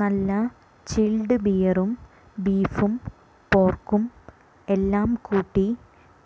നല്ല ചില്ഡ് ബിയറും ബീഫും പോര്ക്കും എല്ലാം കൂട്ടി